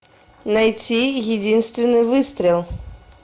найти единственный выстрел